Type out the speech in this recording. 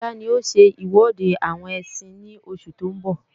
Sọlá ní ó ṣe iwọde àwọn ẹsin ní oṣù tó ń bọ̀